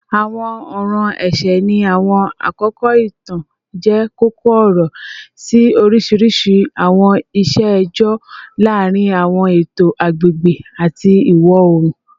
Awọn ọran ẹṣẹ ni awọn akoko itan jẹ koko-ọrọ si oriṣiriṣi awọn iṣe ẹjọ laarin awọn eto agbegbe ati iwọ-oorun